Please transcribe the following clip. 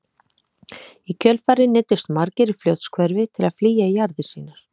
Í kjölfarið neyddust margir í Fljótshverfi til að flýja jarðir sínar.